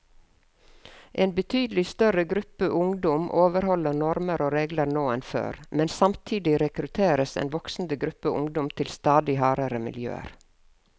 En betydelig større gruppe ungdom overholder normer og regler nå enn før, men samtidig rekrutteres en voksende gruppe ungdom til stadig hardere miljøer.